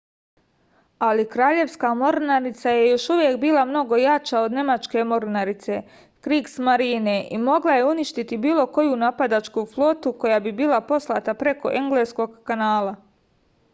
али краљевска морнарица је још увек била много јача од немачке морнарице кригсмарине и могла је уништити било коју нападачку флоту која би била послата преко енглеског канала